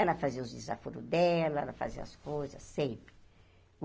Ela fazia os desaforos dela, ela fazia as coisas, sempre.